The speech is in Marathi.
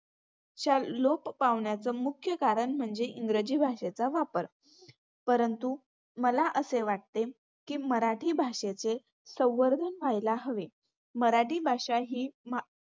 च्या लोप पावण्याचं मुख्य कारण म्हणजे इंग्रजी भाषेचा वापर. परंतु मला असे वाटते की मराठी भाषेचे संवर्धन व्हायला हवे. मराठी भाषा ही